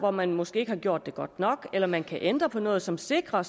hvor man måske ikke har gjort det godt nok eller man kan ændre på noget som sikrer